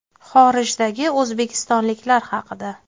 Xorijdagi o‘zbekistonliklar haqida.